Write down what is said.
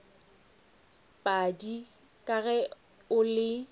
padi ka ge o le